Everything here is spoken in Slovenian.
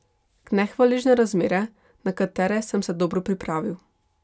Nehvaležne razmere, na katere sem se dobro pripravil.